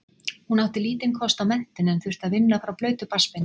Hún átti lítinn kost á menntun en þurfti að vinna frá blautu barnsbeini.